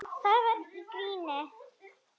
Það var í gríni.